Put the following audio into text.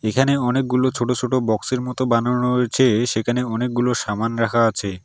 এখানে অনেকগুলো ছোট ছোট বক্স -এর মতো বানানো রয়েছে-এ সেখানে অনেকগুলো সাবান রাখা আছে।